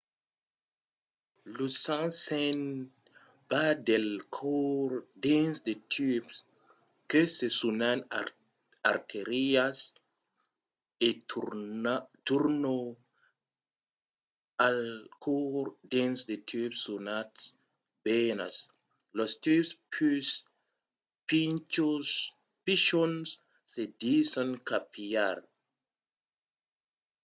lo sang se'n va del còr dins de tubs que se sonan artérias e torna al còr dins de tubs sonats venas. los tubs pus pichons se dison capillars